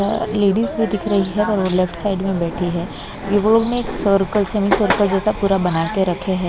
Ladies भी दिख रही है और वो लेफ्ट साइड में बैठी है वो लोगने एक सर्कल सेमी सर्कल जैसा पूरा बना के रखे हैं।